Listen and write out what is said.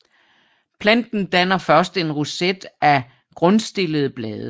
Planten danner først en roset af grundstillede blade